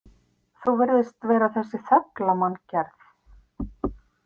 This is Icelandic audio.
Þú virðist vera þessi þögla manngerð.